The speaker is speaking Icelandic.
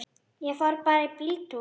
Ég fór bara í bíltúr.